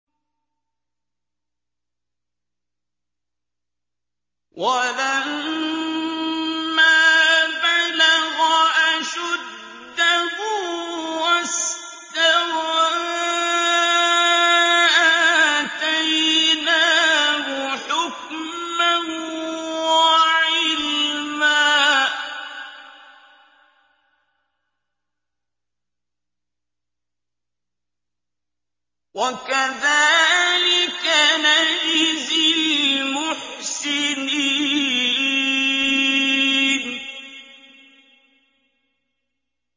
وَلَمَّا بَلَغَ أَشُدَّهُ وَاسْتَوَىٰ آتَيْنَاهُ حُكْمًا وَعِلْمًا ۚ وَكَذَٰلِكَ نَجْزِي الْمُحْسِنِينَ